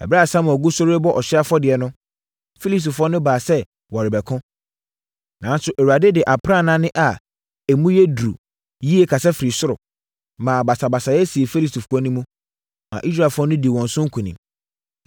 Ɛberɛ a Samuel gu so rebɔ ɔhyeɛ afɔdeɛ no, Filistifoɔ no baa sɛ wɔrebɛko. Nanso, Awurade de aprannaa nne a emu yɛ duru yie kasa firi soro, maa basabasayɛ sii Filistifoɔ no mu, maa Israelfoɔ no dii wɔn so nkonim.